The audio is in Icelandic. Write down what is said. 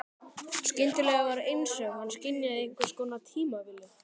Skyndilega var einsog hann skynjaði einhvers konar tímavillu.